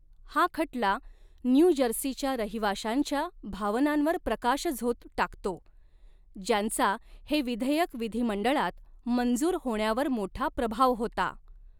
हा खटला न्यू जर्सीच्या रहिवाशांच्या भावनांवर प्रकाशझोत टाकतो, ज्यांचा हे विधेयक विधीमंडळात मंजूर होण्यावर मोठा प्रभाव होता.